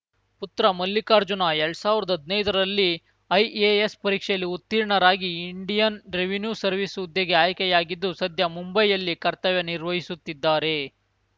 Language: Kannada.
ಪುತ್ರ ಮಲ್ಲಿಕಾರ್ಜುನ ಎಲ್ಡ್ ಸಾವ್ರ್ದಾ ಹದ್ನೈದರಲ್ಲಿ ಐಎಎಸ್‌ ಪರೀಕ್ಷೆಯಲ್ಲಿ ಉತ್ತೀರ್ಣರಾಗಿ ಇಂಡಿಯನ್‌ ರೆವಿನ್ಯೂ ಸರ್ವಿಸ್‌ ಹುದ್ದೆಗೆ ಆಯ್ಕೆಯಾಗಿದ್ದು ಸದ್ಯ ಮುಂಬೈಯಲ್ಲಿ ಕರ್ತವ್ಯ ನಿರ್ವಹಿಸುತ್ತಿದ್ದಾರೆ